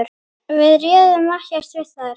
Við réðum ekkert við þær.